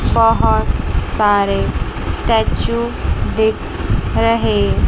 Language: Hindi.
बहोत सारे स्टेच्यू दिख रहे--